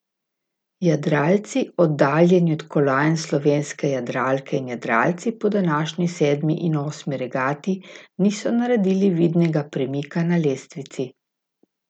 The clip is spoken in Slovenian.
Jadralci oddaljeni od kolajn Slovenske jadralke in jadralci po današnji sedmi in osmi regati niso naredili vidnega premika na lestvici.